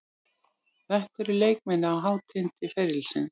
Þetta eru leikmenn á hátindi ferilsins.